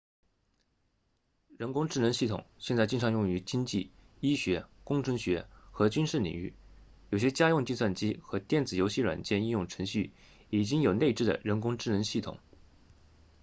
人工智能系统现在经常用于经济医学工程学和军事领域有些家用计算机和电子游戏软件应用程序已经有内置的人工智能系统